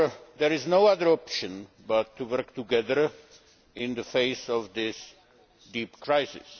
There is no other option than to work together in the face of this deep crisis.